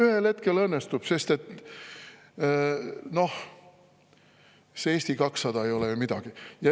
Ühel hetkel õnnestub, sest noh, Eesti 200 ei ole ju midagi.